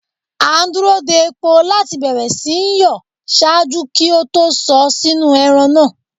A n duro de epo lati bẹrẹ si nyọ ṣaaju ki o to sọ sinu ẹran naa